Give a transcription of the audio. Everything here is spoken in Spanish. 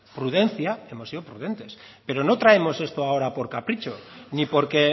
prudencia hemos sido prudentes pero no traemos esto ahora por capricho ni porque